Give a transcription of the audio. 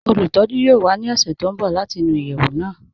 Olùtọ̀jú yoo wà ní ọṣẹ̀ tó n bọ̀ láti nú iyeẹwù náà